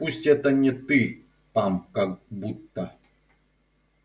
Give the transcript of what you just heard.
пусть это не ты там как будто